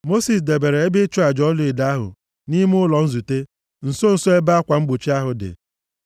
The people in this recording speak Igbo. Mosis debere ebe ịchụ aja ọlaedo ahụ nʼime ụlọ nzute nso nso ebe akwa mgbochi ahụ dị,